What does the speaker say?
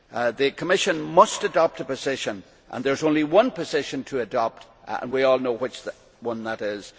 The Commission must adopt a position. There is only one position to adopt and we all know which one that is.